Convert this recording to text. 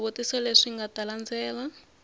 swivutiso leswi nga ta landzela